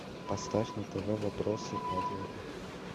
поставь на тв вопросы и ответы